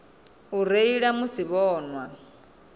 u reila musi vho nwa